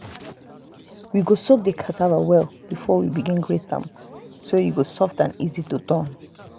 we go soak the cassava well before we begin grate am so e go soft and easy to turn.